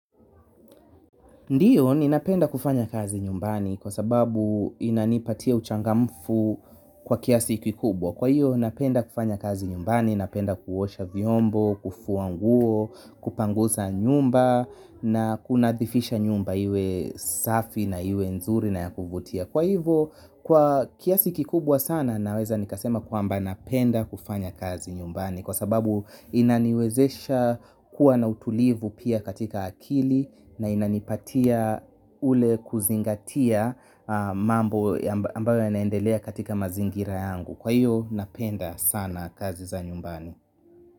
Ndio ninapenda kufanya kazi nyumbani kwa sababu inanipatia uchangamfu kwa kiasi kikubwa kwa hiyo napenda kufanya kazi nyumbani, napenda kuosha vyombo, kufua nguo, kupangusa nyumba na kunadhifisha nyumba iwe safi na iwe nzuri na ya kuvutia. Kwa hivo kwa kiasi kikubwa sana naweza nikasema kwamba napenda kufanya kazi nyumbani kwa sababu inaniwezesha kuwa na utulivu pia katika akili na inanipatia ule kuzingatia mambo ambayo yanaendelea katika mazingira yangu. Kwa hio napenda sana kazi za nyumbani.